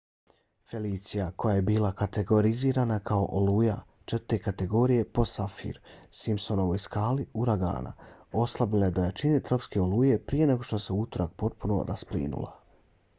felicia koja je bila kategorizirana kao oluja 4. kategorije po saffir-simpsonovoj skali uragana oslabila je do jačine tropske oluje prije nego što se u utorak potpuno rasplinula